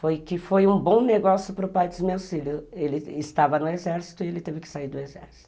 Foi que foi um bom negócio para o pai dos meus filhos, ele estava no exército e ele teve que sair do exército.